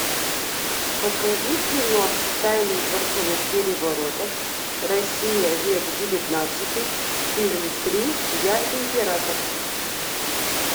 покажи кино тайны дворцовых переворотов россия век девятнадцатый фильм три я император